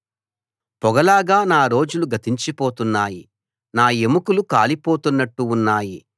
పొగ లాగా నా రోజులు గతించిపోతున్నాయి నా ఎముకలు కాలిపోతున్నట్టు ఉన్నాయి